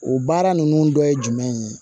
O baara ninnu dɔ ye jumɛn ye